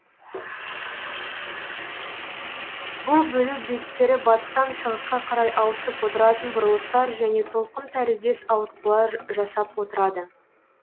бұл бөлу беттері батыстан шығысқа қарай ауысып отыратын бұрылыстар және толқын тәріздес ауытқулар жасап отырады